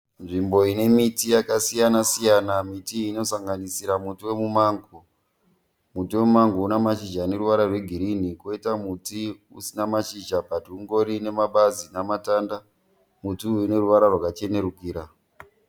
Nzvimbo ine miti yakasiyana siyana. Miti iyi inosanganisira muti wemumango. Muti wemumango une mashizha ane ruvara rwegirini kwoita muti usina mashizha "but" ungorine mabazi nematanda. Muti uyu une ruvara rwakachenerukira.